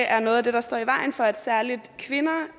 er noget af det der står i vejen for at særligt kvinder